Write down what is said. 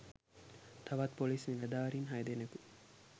තවත් ‍පොලිස් නිලධාරීන් හය දෙනෙකු